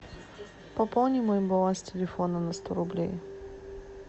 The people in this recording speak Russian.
пополни мой баланс телефона на сто рублей